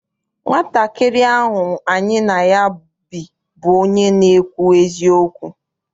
Nwatakịrị ahụ any na ya bi bụ onye na-ekwu eziokwu.